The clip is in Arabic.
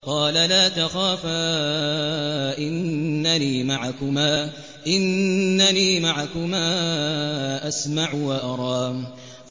قَالَ لَا تَخَافَا ۖ إِنَّنِي مَعَكُمَا أَسْمَعُ وَأَرَىٰ